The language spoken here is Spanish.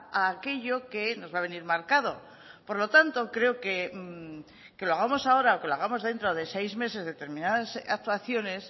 a aquello que nos va a venir marcado por lo tanto creo que lo hagamos ahora o que lo hagamos dentro de seis meses determinadas actuaciones